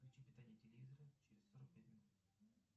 включи питание телевизора через сорок пять минут